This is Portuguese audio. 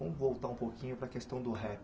Vamos voltar um pouquinho para a questão do rap.